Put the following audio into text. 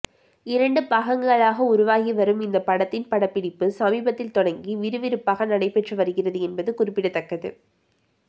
இரண்டு பாகங்களாக உருவாகி வரும் இந்த படத்தின் படப்பிடிப்பு சமீபத்தில் தொடங்கி விறுவிறுப்பாக நடைபெற்று வருகிறது என்பது குறிப்பிடத்தக்கது